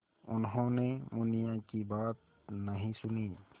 उन्होंने मुनिया की बात नहीं सुनी